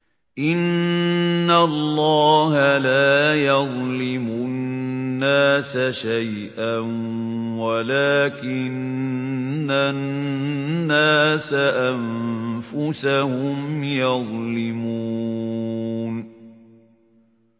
إِنَّ اللَّهَ لَا يَظْلِمُ النَّاسَ شَيْئًا وَلَٰكِنَّ النَّاسَ أَنفُسَهُمْ يَظْلِمُونَ